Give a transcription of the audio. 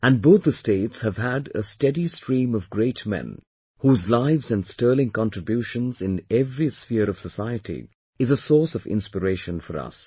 And both the states had a steady stream of great men whose lives and sterling contributions in every sphere of society is a source of inspiration for us